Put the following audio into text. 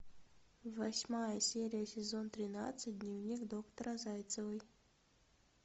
восьмая серия сезон тринадцать дневник доктора зайцевой